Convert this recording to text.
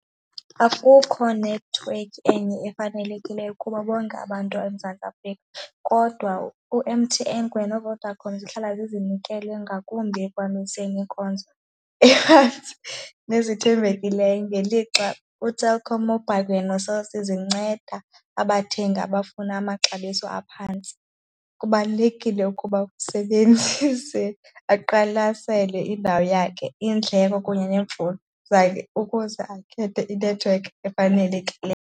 Akukho nethiwekhi enye efanelekileyo kuba bonke abantu eMzantsi Afrika kodwa u-M_T_N kunye noVodacom zihlala zinikele ngakumbi ekuhambiseni iinkonzo nezithembekileyo ngelixa uTelkom Mobile kunye noCell C zinceda abathengi abafuna amaxabiso aphantsi. Kubalulekile ukuba usebenzise aqwalasele indawo yakhe, iindleko kunye neemfuno zakhe ukuze akhethe inethiwekhi efanelekileyo.